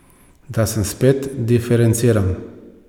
Da sem spet diferenciran.